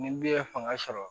Ni den ye fanga sɔrɔ